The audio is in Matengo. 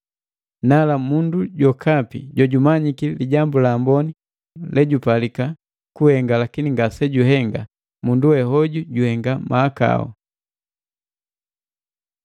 Nala, mundu jokapi jojumanyiki lijambu la amboni lejupalika kuhenga lakini ngasejuhenga, mundu we hoju juhenga mahakau.